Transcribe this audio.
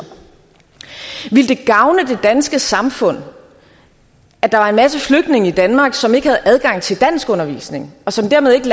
ville det gavne det danske samfund at der var en masse flygtninge i danmark som ikke havde adgang til danskundervisning og som dermed ikke